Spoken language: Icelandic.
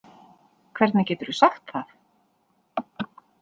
Hvernig geturðu sagt það?